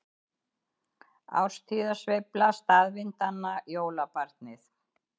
Árstíðasveifla staðvindanna- jólabarnið